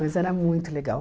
Mas era muito legal.